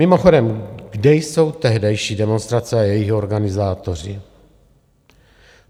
Mimochodem, kde jsou tehdejší demonstrace a jejich organizátoři?